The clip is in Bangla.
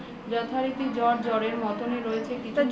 যথারীতি জ্বর জ্বরের মতনই রয়েছে